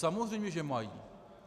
Samozřejmě že mají.